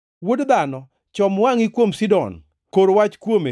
“Wuod dhano, chom wangʼi kuom Sidon; kor wach kuome